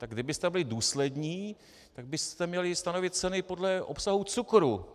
Tak kdybyste byli důslední, tak byste měli stanovit ceny podle obsahu cukru.